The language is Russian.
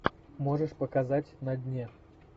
можешь показать на дне